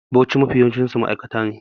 Bauchi sh ne Mafi yawancinsu ma'aikata ne